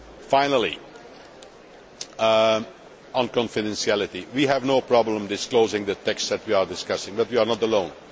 Finally, on confidentiality, we have no problem disclosing the texts that we are discussing, but we are not alone.